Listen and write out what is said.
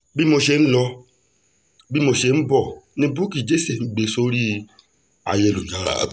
bí mo ṣe ń lọ bí mo ṣe ń bọ̀ ni bukky jesse ń gbé sórí ayélujára